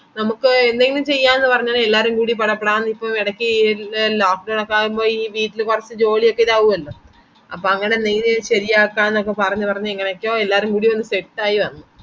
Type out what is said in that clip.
നമക്ക് എന്തെങ്കിലു ചെയ്യാന്നു പറഞ്ഞത് എല്ലാരുകൂടെ കൊറേ plans ഇപ്പൊ ഇറക്കി എൽ എല്ലോ ആവുമ്പൊ ഈ വീട്ടില് കൊറച് ജോലി ഒക്കെ ഇതാവു അല്ലോ അപ്പൊ അങ്ങനെ നീ ഇത് ശരി ആക്കന്നൊക്കെ പറഞ്ഞു പറഞ്ഞു എങ്ങനൊക്കെയോ എല്ലാരുക്കൂടി ഒന്ന് set ആയി വന്നു